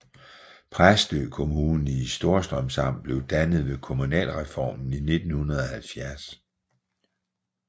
Præstø Kommune i Storstrøms Amt blev dannet ved kommunalreformen i 1970